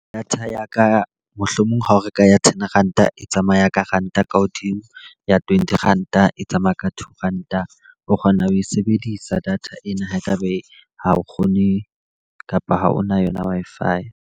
Data ya ka mohlomong ha o reka ya ten Ranta e tsamaya ka Ranta ka hodimo. Ya twenty Ranta e tsamaya ka two Ranta. O kgona ho e sebedisa data ena ha e ka be ha o kgone kapa ha o na yona Wi-Fi.